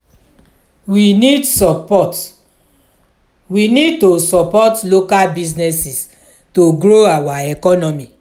we need support we need to support local businesses to grow our economy.